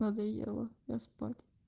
надоело я спать